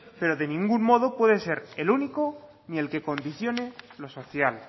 pero de ningún modo puede ser el único ni el que condicione lo social